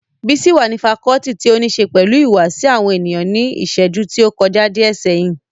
Bísí wà ní fakọọti ti óníse pẹ̀lú ìhùwàsí àwọn ènìyàn ní ìṣẹ́jú tí ó kọjá díẹ̀ sẹ́yìn